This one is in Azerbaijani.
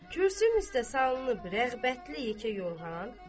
Kürsünün üstə salınıbdır rəğbətli yekə yorğan.